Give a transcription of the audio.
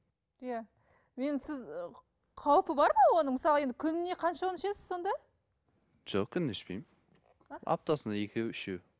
иә енді сіз ы қауіпі бар ма оның мысалы енді күніне қаншауын ішесіз сонда жоқ күніне ішпеймін аптасына екеу үшеу